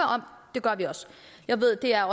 det gør vi også jeg ved at det er